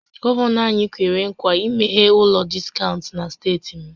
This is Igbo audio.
Gọvanọ anyị kwere ńkwà imeghe ụlọ diskaụnt na steeti m